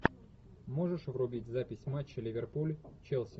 можешь врубить запись матча ливерпуль челси